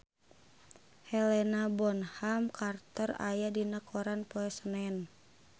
Helena Bonham Carter aya dina koran poe Senen